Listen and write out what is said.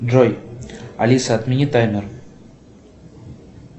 джой алиса отмени таймер